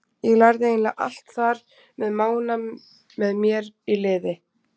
Ég lærði eiginlega allt þar með Mána með mér í liði.